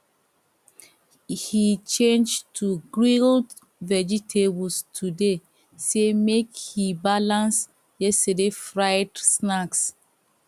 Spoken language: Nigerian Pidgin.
he change to grilled vegetables today say make he balance yesterday fried snacks